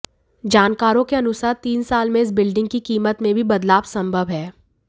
जानकारों के अनुसार तीन साल में इस बिल्डिंग की कीमत में भी बदलाव संभव है